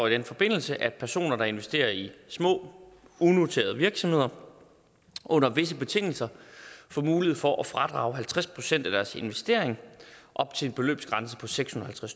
i den forbindelse at personer der investerer i små unoterede virksomheder under visse betingelser får mulighed for at fradrage halvtreds procent af deres investering op til en beløbsgrænse på sekshundrede og